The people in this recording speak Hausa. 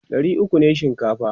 ɗari ukwu ne shinkafa